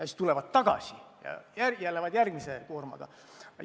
Siis tulevad tagasi ja lähevad järgmise koorma järele.